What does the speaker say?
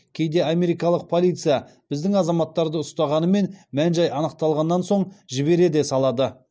мән жай анықталғаннан соң жібере де салады